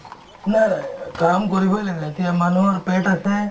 নাই অ কাম কৰিবয়ে লাগে এতিয়া মানুহৰ পেট আছে